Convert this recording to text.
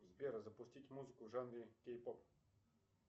сбер запустить музыку в жанре кей поп